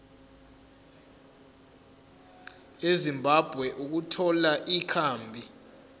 ezimbabwe ukuthola ikhambi